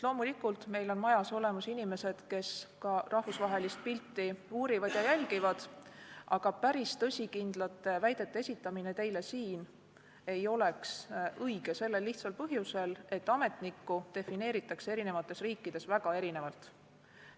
Loomulikult on meil majas olemas inimesed, kes ka rahvusvahelist pilti uurivad ja jälgivad, aga päris tõsikindlate väidete esitamine teile siin ei oleks õige sellel lihtsal põhjusel, et ametnikku defineeritakse eri riikides väga erinevalt.